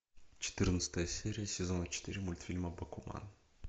четырнадцатая серия сезона четыре мультфильма бакуман